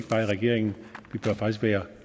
regeringen